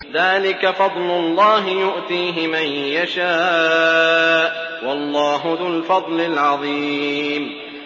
ذَٰلِكَ فَضْلُ اللَّهِ يُؤْتِيهِ مَن يَشَاءُ ۚ وَاللَّهُ ذُو الْفَضْلِ الْعَظِيمِ